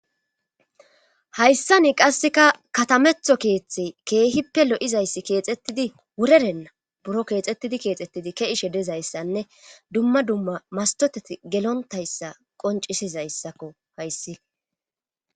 Hayssani qasseka katametho keeththe keehippe lo7izayssi keexettidi wurerenna buro keexxettidi keexettidi keishe dezayssanne dumma dumma mastoteti gelontayssa qoncisizayssakko hayssi